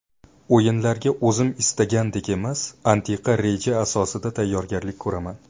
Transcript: O‘yinlarga o‘zim istagandek emas, aniq reja asosida tayyorgarlik ko‘raman.